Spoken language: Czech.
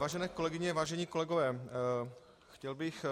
Vážené kolegyně, vážení kolegové, chtěl bych